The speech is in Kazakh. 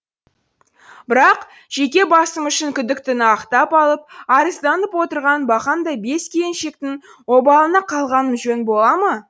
бірақ жеке басым үшін күдіктіні ақтап алып арызданып отырған бақандай бес келіншектің обалына қалғаным жөн бола ма